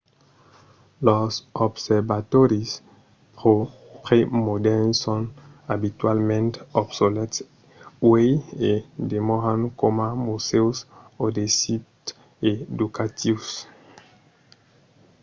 los observatòris premodèrns son abitualament obsolèts uèi e demòran coma musèus o de sits educatius